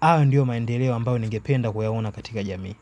Hayo ndiyo maendeleo ambayo ningependa kuyaona katika jamii.